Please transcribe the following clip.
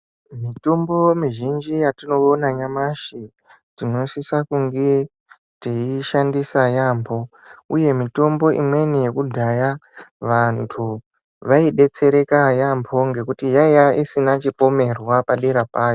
Mitombo mizhinji yatinoona nyamashi tinosisa kunge teiishandisa yaambo uye mitombo imweni yekudhaya, vantu veidetsereka yaambho ngekuti yaiya isina chipomerwa padera payo.